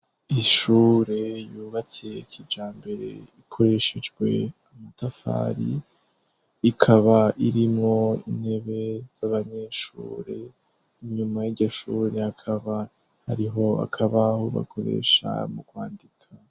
Ishure yubatse kija mbere ikoreshejwe amatafari ikaba irimwo intebe z'abanyeshure, inyuma y'igishure akaba hariho akabahubakoresha mu kwandika.